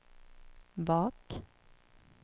bak